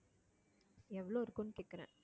எவ்வளவு இருக்கும்னு கேட்கிறேன்